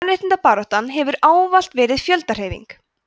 kvenréttindabaráttan hefur ávallt verið fjöldahreyfing